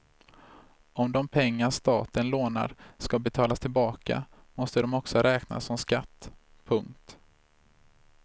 Om de pengar staten lånar ska betalas tillbaka måste de också räknas som skatt. punkt